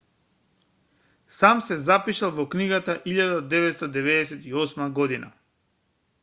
сам се запишал во книга од 1998 година